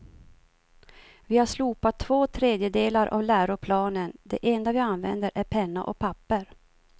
Vi har slopat två tredjedelar av läroplanen, det enda vi använder är penna och papper.